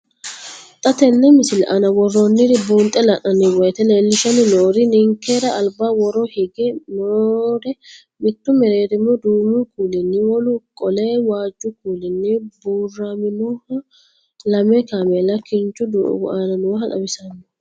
Xa tenne missile aana worroonniri buunxe la'nanni woyiite leellishshanni noori ninkera alba woro higge noore mittu mereerimu duumu kuulinni, wolu qole waajju kuulinni buuraminoha lame kaameela kinchu doogo aana nooha xawissanno.